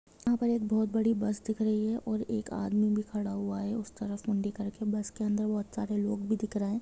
यहाँ पर एक बहुत बड़ी बस दिख रही हैऔर एक आदमी भी खड़ा हुआ है उस तरफ मुंडी करके बस के अंदर बहुत सारे लोग भी दिख रहे है।